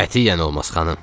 "Qətiyyən olmaz, xanım!"